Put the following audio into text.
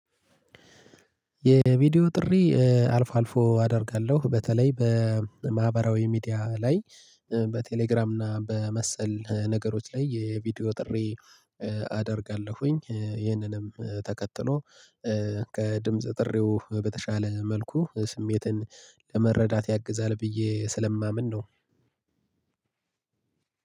የቪዲዮ ጥሪ አልፎ አልፎ አደርጋለሁ በተለይ በማህበራዊ ሚዲያ ላይ በቴሌግራም እና በመሰል ነገሮች ላይ የቪዲዮ ጥሪ አደርጋለሁኝ። ይህንንም ተከትሎ ከድምጽ ጥሪው በተሻለ መልኩ ስሜትን ለመረዳት ያግዛል ብዬ ስለማምን ነው።